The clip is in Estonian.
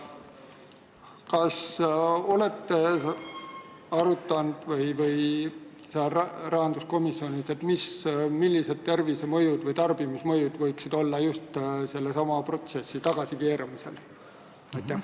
Kas te olete rahanduskomisjonis arutanud, millised tervisemõjud või tarbimismõjud võiksid olla just selle protsessi tagasikeeramisel?